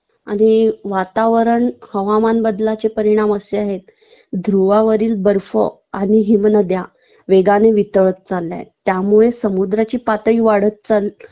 आणि वातावरण हवामान बदलाचे परिणाम असे आहेत ध्रुवावरील बर्फ आणि हिमनद्या वेगाने वितळत चालल्यात त्यामुळे समुद्राची पातळी वाढत